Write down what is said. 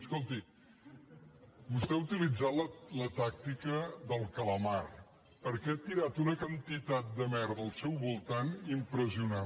escolti vostè ha utilitzat la tàcti·ca del calamar perquè ha tirat una quantitat de merda al seu voltant impressionant